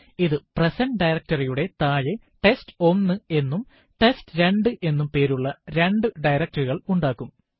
ഇത് present directory യുടെ താഴെ ടെസ്റ്റ്1 എന്നും ടെസ്റ്റ്2 എന്നും പേരുള്ള രണ്ടു directory കള് ഉണ്ടാക്കും